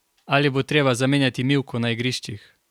Ali bo treba zamenjati mivko na igriščih?